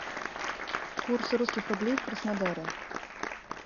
курс русских рублей в краснодаре